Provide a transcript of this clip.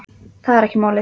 Það er ekki málið.